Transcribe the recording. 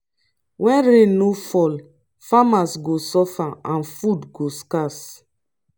when rain no fall farmers go suffer and food go scarce.